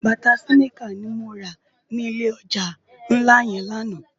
Bàtá siniká ni mó rá ni ilé òjá nlá yèn làná